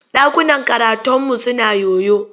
Ɗakunan karataunmu suna yoyo.